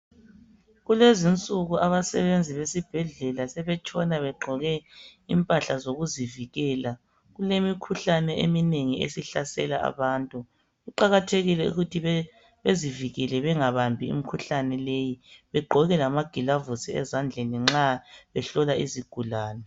Kulezinsuku abasebenzi besibhedlela sebetshona begqoke impahla zokuzivikela. Kulemikhuhlane eminengi esihlasela abantu kuqakathekile ukuthi bezivikele bengabambi imikhuhlane leyi, bagqoke lama gilovisi ezandleni nxa behlola izigulani.